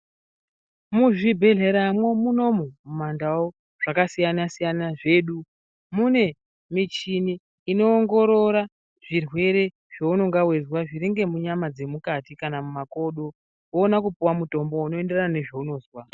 Muzvibhendlera mwo munomu mundau zvakasiyana siyana zvedu mune michini inoongorora zvirwere zveunenge weizwa zviri ngemunyama dzemukati mumakodo woona kupuwa mutombo zvinoenderana ngezveunozwa.